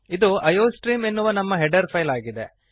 ಇದು ಐಯೋಸ್ಟ್ರೀಮ್ ಎನ್ನುವ ನಮ್ಮ ಹೆಡರ್ ಫೈಲ್ ಆಗಿದೆ